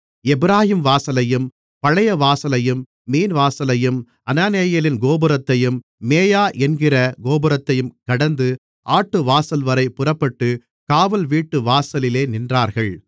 எப்பிராயீம்வாசலையும் பழையவாசலையும் மீன்வாசலையும் அனானெயேலின் கோபுரத்தையும் மேயா என்கிற கோபுரத்தையும் கடந்து ஆட்டுவாசல்வரை புறப்பட்டுக் காவல்வீட்டுவாசலிலே நின்றார்கள்